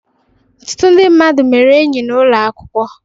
Ọtụtụ ndị mmadụ mere enyi n'ụlọ akwụkwọ.